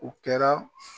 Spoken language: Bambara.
U kɛra